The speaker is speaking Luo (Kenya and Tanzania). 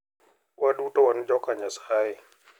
Waduto wan joka Nyasaye.